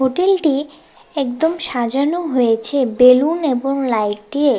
হোটেলটি একদম সাজানো হয়েছে বেলুন এবং লাইট দিয়ে।